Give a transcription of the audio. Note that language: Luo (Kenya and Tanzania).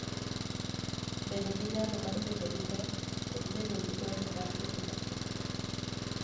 Bedo gi nyalo mar bedo gi pek, kod bedo gi gombo mar timo lokruok.